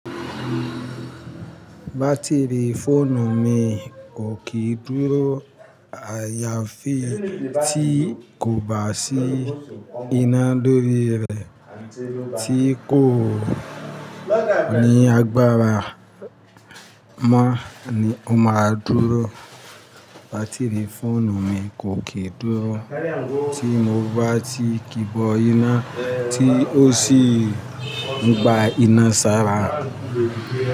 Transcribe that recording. Batiri fóònù mi kò kìí dúró àyàfi tí kò bá sí iná lórí rẹ, tí kò ní agbára mọ́ ni ó máa dúró. Batiri fóònù mi kò kìí dúró tí mo bá ti ki bọ iná tí ó sì ń gba iná sára.